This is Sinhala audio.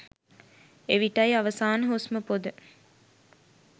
එවිටයි අවසාන හුස්ම පොඳ